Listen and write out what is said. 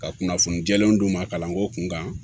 Ka kunnafoni jɛlenw d'u ma kalanko kun kan